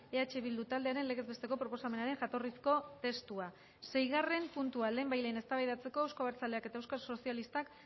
eh bildu taldearen legez besteko proposamenaren jatorrizko testua seigarren puntua lehenbailehen eztabaidatzeko euzko abertzaleak eta euskal sozialistak